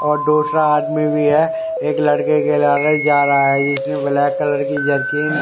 दूसरा आदमी भी है एक लड़के के लिए जा रहा है जिसकी ब्लैक कलर की जनकी--